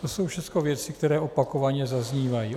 To jsou všechno věci, které opakovaně zaznívají.